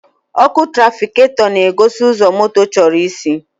Ọkụ tụrafikatọ na-egosi ụzọ moto chọrọ isi.